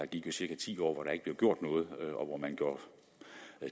gik cirka ti år hvor der ikke blev gjort noget og hvor man gjorde